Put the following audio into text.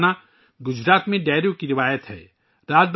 میرے پریوار جنو، گجرات میں ڈائیرا کی روایت ہے